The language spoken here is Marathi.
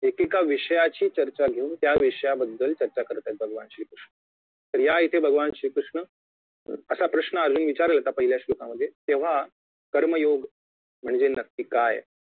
एकेका विषयाची चर्चा घेऊन त्याविषयाबद्दल चर्चा करत आहेत भगवान श्री कृष्ण तर या इथे भगवान श्री कृष्ण असा प्रश्न अर्जुन विचारेल तर आता पहिल्या श्लोकामध्ये तेव्हा कर्मयोग म्हणजे नक्की काय